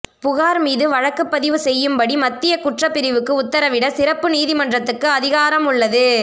புகார் மீது வழக்கு பதிவு செய்யும்படி மத்திய குற்றப்பிரிவுக்கு உத்தரவிட சிறப்பு நீதிமன்றத்துக்கு அதிகாரம் உள்ளது